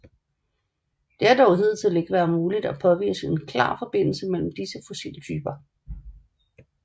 Det har dog hidtil ikke været muligt at påvise en klar forbindelse mellem disse fossiltyper